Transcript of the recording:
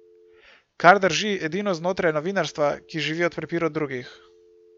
Kar drži edino znotraj novinarstva, ki živi od prepirov drugih.